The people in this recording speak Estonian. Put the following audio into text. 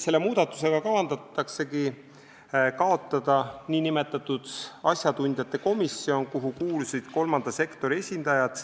Selle muudatusega kavandatakse kaotada nn asjatundjate komisjon, kuhu kuuluvad kolmanda sektori esindajad.